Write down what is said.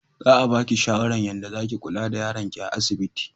Za a baki shawara yanda zaki kulla da yaron ki a asibiti